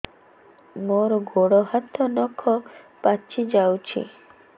ମୋର ଗୋଡ଼ ହାତ ନଖ ପାଚି ଯାଉଛି